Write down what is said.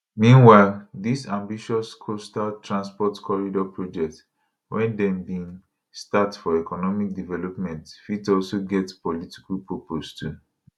meanwhile dis ambitious coastal transport corridor project wey dem bin start for economic development fit also get political purpose too